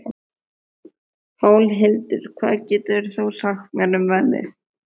Pálhildur, hvað geturðu sagt mér um veðrið?